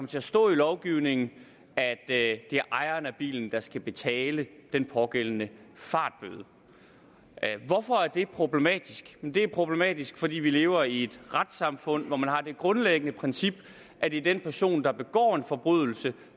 til at stå i lovgivningen at det er ejeren af bilen der skal betale den pågældende fartbøde hvorfor er det problematisk det er problematisk fordi vi lever i et retssamfund hvor man har det grundlæggende princip at det er den person der begår en forbrydelse